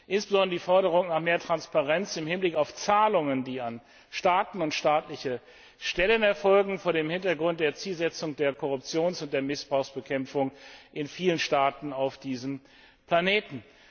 Insbesondere die Forderung nach mehr Transparenz im Hinblick auf Zahlungen, die an Staaten und staatliche Stellen erfolgen, vor dem Hintergrund der Zielsetzung der Korruptions und Missbrauchsbekämpfung in vielen Staaten auf diesem Planeten.